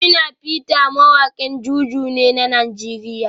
Shina peter mawakin JuJu ne na Najeriya